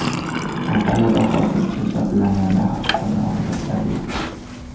Kompaniyada hozircha jabrlanganlar haqida ma’lumotlar yo‘q.